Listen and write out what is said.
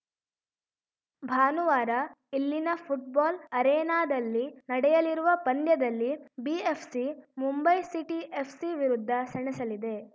ಭಾನುವಾರ ಇಲ್ಲಿನ ಫುಟ್ಬಾಲ್‌ ಅರೆನಾದಲ್ಲಿ ನಡೆಯಲಿರುವ ಪಂದ್ಯದಲ್ಲಿ ಬಿಎಫ್‌ಸಿ ಮುಂಬೈ ಸಿಟಿ ಎಫ್‌ಸಿ ವಿರುದ್ಧ ಸೆಣಸಲಿದೆ